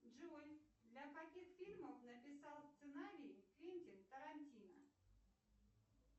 джой для каких фильмов написал сценарий квентин тарантино